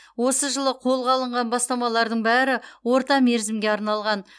осы жылы қолға алынған бастамалардың бәрі орта мерзімге арналған